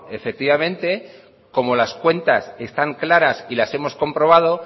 efectivamente como las cuentas están claras y las hemos comprobado